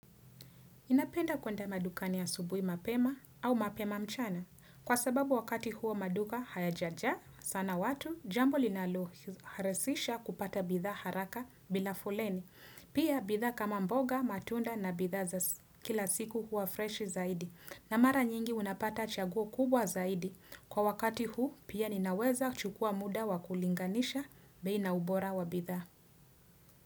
Napenda kwenda madukani ya asubuhi mapema au mapema mchana. Kwa sababu wakati huo maduka hayajaja sana watu, jambo linalo harahisisha kupata bidhaa haraka bila foleni. Pia bidhaa kama mboga, matunda na bidhaa za kila siku hua freshi zaidi. Na mara nyingi unapata chaguo kubwa zaidi. Kwa wakati huu pia ninaweza chukua muda wa kulinganisha bei na ubora wa bidhaa.